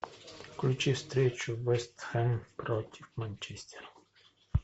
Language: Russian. включи встречу вест хэм против манчестера